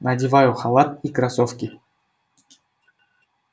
надеваю халат и кроссовки